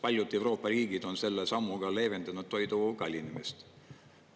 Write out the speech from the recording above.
Paljud Euroopa riigid on selle sammuga leevendanud toidu kallinemist.